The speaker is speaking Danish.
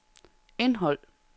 indhold